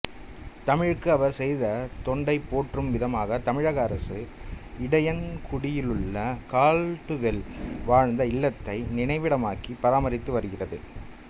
தமிழுக்கு அவர் செய்த தொண்டைப் போற்றும் விதமாக தமிழக அரசு இடையன்குடியிலுள்ள கால்டுவெல் வாழ்ந்த இல்லத்தை நினைவிடமாக்கி பராமரித்து வருகிறது